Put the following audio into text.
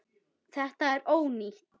Þetta er ónýtt.